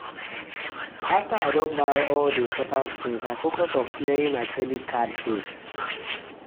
after i don buy all the important things i focus on clearing my credit card debt.